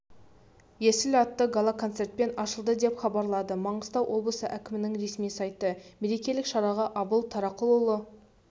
есіл атты гала-концертпен ашылды деп хабарлады маңғыстау облысы әкімінің ресми сайты мерекелік шараға абыл тарақұлы